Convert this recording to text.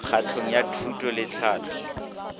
kgatong ya thuto le tlhahlo